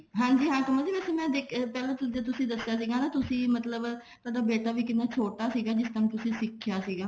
ਹਾਂਜੀ ਹਾਂ ਕਮਲ ਪਹਿਲਾਂ ਜਦੋਂ ਤੁਸੀਂ ਦੱਸਿਆ ਸੀ ਨਾ ਤੁਸੀਂ ਮਤਲਬ ਥੋਡਾ ਬੇਟਾ ਵੀ ਕਿੰਨਾ ਛੋਟਾ ਸੀਗਾ ਜਿਸ time ਤੁਸੀਂ ਸਿੱਖਿਆ ਸੀਗਾ